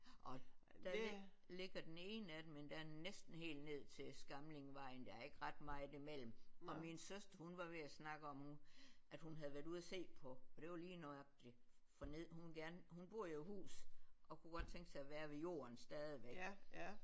Og der ligger den ene af dem endda næsten helt ned til Skamlingvejen der er ikke ret meget imellem og min søster hun var ved at snakke om hun at hun havde været ude at se på og det var lige nøjagtigt for neden hun vil gerne hun bor jo i hus og kunne godt tænke sig at være ved jorden stadigvæk